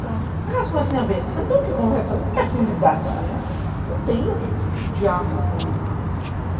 Aquelas conversinhas bestas, você não tem o que conversar, não tem afinidade, né, uhum, não tem o que diálogo com ele.